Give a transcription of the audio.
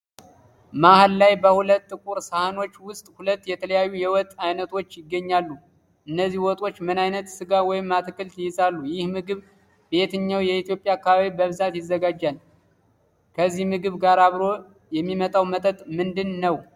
መሃል ላይ በሁለት ጥቁር ሳህኖች ውስጥ ሁለት የተለያዩ የወጥ አይነቶች ይገኛሉ። እነዚህ ወጦች ምን አይነት ስጋ ወይም አትክልት ይይዛሉ? ይህ ምግብ በየትኛው የኢትዮጵያ አካባቢ በብዛት ይዘጋጃል? ከዚህ ምግብ ጋር አብሮ የሚጠጣው መጠጥ ምንድነው